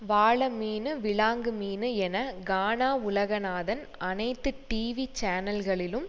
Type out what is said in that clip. வாளமீனு விலாங்குமீனு என கானா உலகநாதன் அனைத்து டிவி சேனல்களிலும்